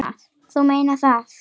Þú meinar það?